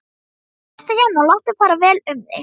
Sestu hérna og láttu fara vel um þig!